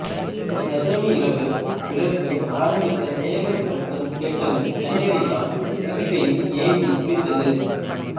தசமி இரவு விளக்கு ஆரம்பித்த மேள சப்தம் கேட்டதும் தண்ணீரைத்தன் துதிக்கையில் ஏந்தி குளித்தது